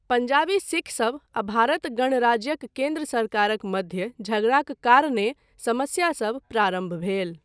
पंजाबी सिखसभ आ भारत गणराज्यक केन्द्र सरकारक मध्य झगड़ाक कारणेँ समस्यासभ प्रारम्भ भेल।